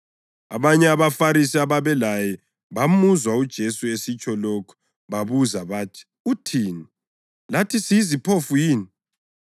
Abanye abaFarisi ababelaye bamuzwa uJesu esitsho lokhu babuza bathi, “Uthini? Lathi siyiziphofu yini?”